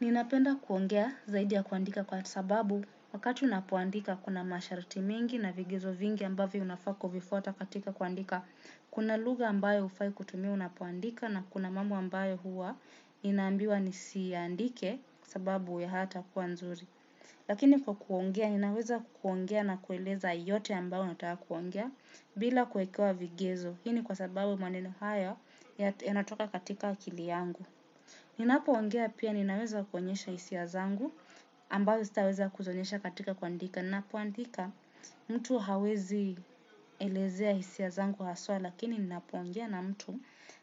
Ninapenda kuongea zaidi ya kuandika kwa sababu wakati unapoandika kuna masharti mengi na vigezo vingi ambavyo unafaa kuvifuata katika kuandika. Kuna lugha ambayo hufai kutumia unapoandika na kuna mambo ambayo huwa, inaambiwa nisiandike kwa sababu hayata kuwa nzuri. Lakini kwa kuongea ninaweza kuongea na kueleza yote ambayo nataka kuongea bila kuekewa vigezo. Hii ni kwa sababu maneno hayo yanatoka katika akili yangu. Ninapoongea pia ninaweza kuonyesha hisia zangu ambayo sitaweza kuzionyesha katika kuandika. Ninapoandika mtu hawezi elezea hisia zangu haswa lakini ninapo ongea na mtu,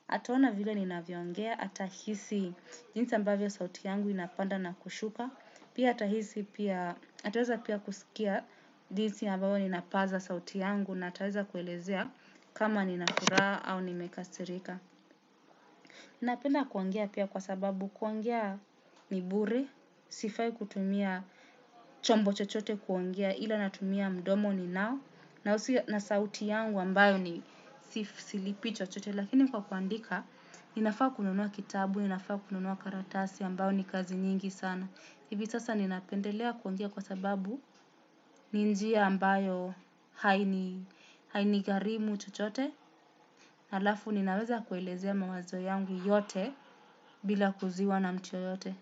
ataona vile ninavyo ongea atahisi jinsi ambavyo sauti yangu inapanda na kushuka. Pia atahisi pia ataweza pia kusikia jinsi ambavyo ninapaza sauti yangu na ataweza kuelezea, kama nina furaha au nimekasirika. Ninapenda kuongea pia kwa sababu kuongea ni bure, sifai kutumia chombo chochote kuongea ila natumia mdomo ninao, na sauti yangu ambayo silipii chochote lakini kwa kuandika, ninafaa kununua kitabu, ninafaa kununua karatasi ambayo ni kazi nyingi sana. Hivi sasa ninapendelea kuongea kwa sababu ni njia ambayo hainigharimu chochote. Halafu ninaweza kuelezea mawazo yangu yote bila kuuziwa na mtu yeyote.